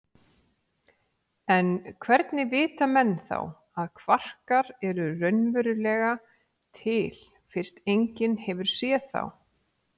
En hvernig vita menn þá að kvarkar eru raunverulega til fyrst enginn hefur séð þá?